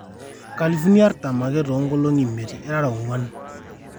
nkalifuni artam ake too nkolongi imiet irara oonguan